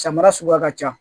Samara suguya ka ca